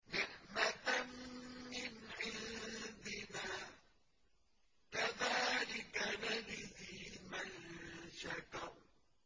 نِّعْمَةً مِّنْ عِندِنَا ۚ كَذَٰلِكَ نَجْزِي مَن شَكَرَ